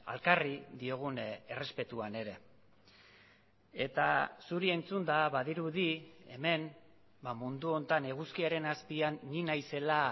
elkarri diogun errespetuan ere eta zuri entzunda badirudi hemen mundu honetan eguzkiaren azpian ni naizela